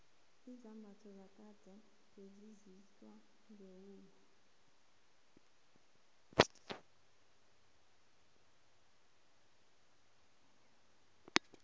izambatho zakade bezenziwa ngewula